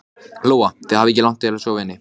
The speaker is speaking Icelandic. Heimir Már: Gæti orðið fyrir jól?